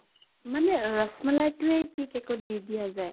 মানে ৰস মলাই টোয়ে কি cake ত দি দিয়া যায়?